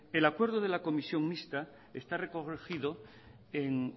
el acuerdo de la comisión mixta está recogido en